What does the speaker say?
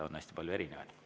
On hästi palju erinevaid.